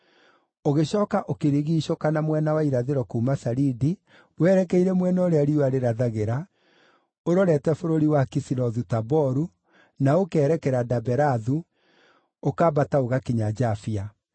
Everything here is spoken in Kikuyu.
Ũgĩcooka ũkĩrigiicũka na mwena wa irathĩro kuuma Saridi werekeire mwena ũrĩa riũa rĩrathagĩra, ũrorete bũrũri wa Kisilothu-Taboru, na ũkerekera Daberathu, ũkambata ũgakinya Jafia.